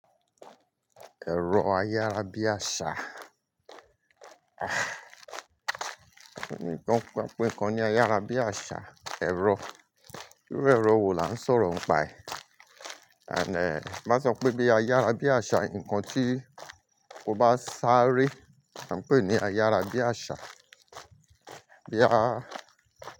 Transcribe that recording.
Ẹ̀rọ ayárabíàṣá. Emi ọ gbọ pa pé nǹkan ni ayárabíàṣá, ẹ̀rọ. Irú ẹ̀rọ wo la ń sọ̀rọ̀ pa ẹ́, and ti ba sọ pé bí ayárabíàṣá, nǹkan tí o bá sáré, là ń pè é ní ayárabíàṣá. Boya.